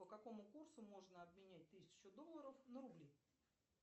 по какому курсу можно обменять тысячу долларов на рубли